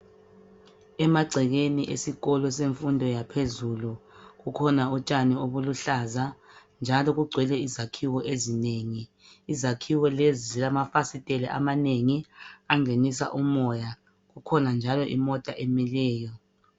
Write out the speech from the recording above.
Emagcekeni esikolo semfundo yaphezulu. Kukhona utshani obuluhlaza, njalo kugcwele izakhiwo ezinengi. Izakhiwo lezi zilamafasiteli amanengi. Angenisa umoya. Kukhona njalo imota emileyo.